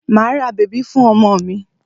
Màá ra bèbí fún ọmọ mi.